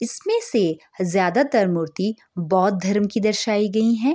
इसमें से ज्यादा तर मूर्ति बौद्ध धर्म की दर्शाई गई हें।